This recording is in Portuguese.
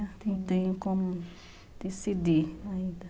Não tenho como decidir ainda.